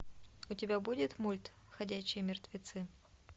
у тебя будет мульт ходячие мертвецы